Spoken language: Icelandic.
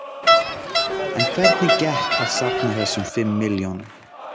En hvernig gekk að safna þessum fimm milljónum?